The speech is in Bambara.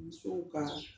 Musow ka